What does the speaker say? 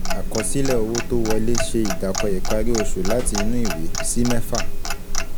Àkọsílẹ̀ owó tó wolẹ́ ṣe ìdàkọ ìparí oṣù láti inú ìwé, sí mẹ́fà.